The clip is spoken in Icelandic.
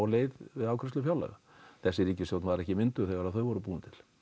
leið við afgreiðslu fjárlaga þessi ríkisstjórn var ekki mynduð þegar þau voru búin til